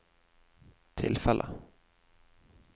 tilfellet